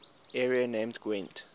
area named gwent